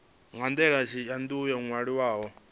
na ndaela yo tou ṅwaliwaho